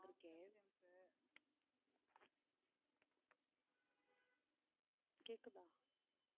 இருக்கேன் கேக்குதா